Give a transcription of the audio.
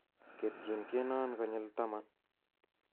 ketyin tyenon konyil taman